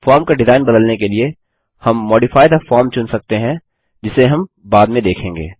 form का design बदलने के लिए हम मॉडिफाई थे फॉर्म चुन सकते हैं जिसे हम बाद में देखेंगे